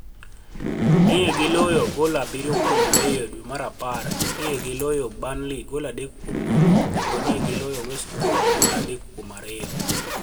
ni e giloyo gol 7-2 e dwe mar apar, ni e giloyo Burniley gol 3-0, kenido ni e giloyo West Brom gol 3-2.